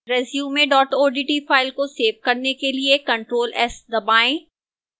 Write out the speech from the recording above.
resume odt file को save करने के लिए ctrl + s दबाएं